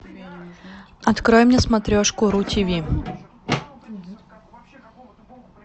открой мне смотрешку ру тиви